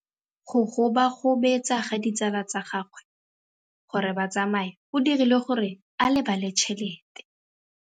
Go gobagobetsa ga ditsala tsa gagwe, gore ba tsamaye go dirile gore a lebale tšhelete.